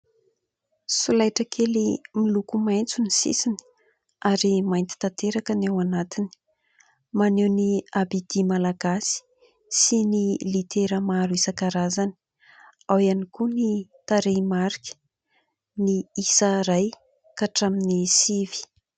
Solaitra kely miloko maitso ny sisiny ary mainty tanteraka ny ao anatiny, maneho ny "abd" malagasy sy ny litera maro isan-karazany, ao ihany koa ny tarehimarika, ny isa iray ka hatramin'ny sivy.